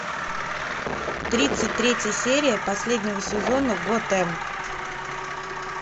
тридцать третья серия последнего сезона готэм